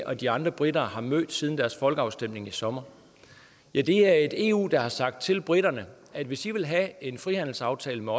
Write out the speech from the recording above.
og de andre briter har mødt siden folkeafstemningen i sommer ja det er et eu der har sagt til briterne at hvis de vil have en frihandelsaftale med